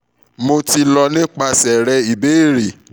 mo ti lọ nipasẹ rẹ ibeere